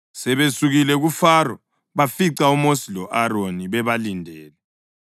Sebesukile kuFaro, bafica uMosi lo-Aroni bebalindele.